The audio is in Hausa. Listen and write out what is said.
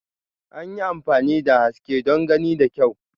An yi amfani da haske don gani da kyau.